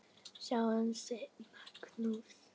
Ráð hans voru góð ráð.